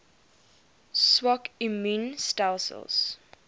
swak immuun stelsels